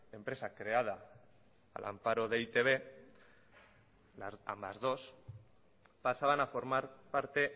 empresa creada al amparo de e i te be ambas dos pasaban a formar parte